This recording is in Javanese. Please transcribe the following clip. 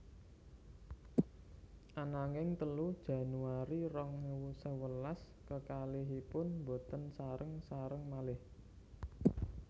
Ananging telu Januari rong ewu sewelas kekalihipun boten sareng sareng malih